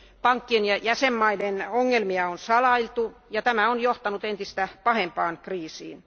Pankkien ja jäsenvaltioiden ongelmia on salailtu, ja tämä on johtanut entistä pahempaan kriisiin.